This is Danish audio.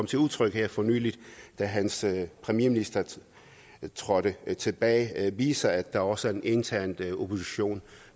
til udtryk her for nylig da hans premierminister trådte tilbage viser at der også er en intern opposition